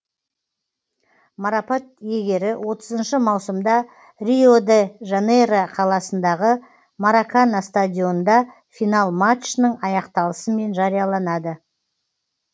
марапат иегері отызыншы маусымда рио де жанейро қаласындағы маракана стадионында финал матчының аяқталысымен жарияланады